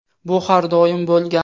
Bu har doim bo‘lgan.